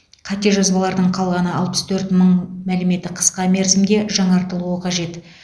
қате жазбалардың қалғаны алпыс төрт мың мәліметі қысқа мерзімде жаңартылуы қажет